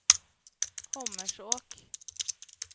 Hommersåk